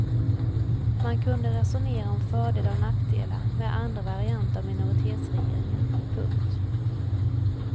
Man kunde resonera om fördelar och nackdelar med andra varianter av minoritetsregeringar. punkt